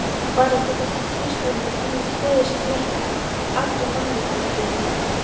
Var ekki þessi tvístöfnungur einmitt fleyið sem fleytti allri menningarviðleitni?